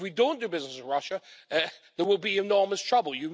If we don't do business with Russia there will be enormous trouble.